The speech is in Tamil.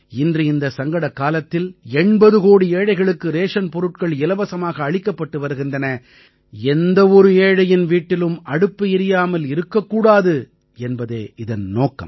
இன்று இந்த சங்கடக் காலத்தில் 80 கோடி ஏழைகளுக்கு ரேஷன் பொருட்கள் இலவசமாக அளிக்கப்பட்டு வருகின்றன எந்த ஒரு ஏழையின் வீட்டிலும் அடுப்பு எரியாமல் இருக்கக்கூடாது என்பதே இதன் நோக்கம்